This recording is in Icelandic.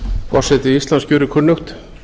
forseti íslands gerir kunnugt